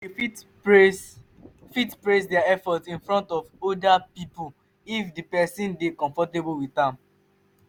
you fit praise fit praise their effort in front of oda pipo if di person dey comfortable with am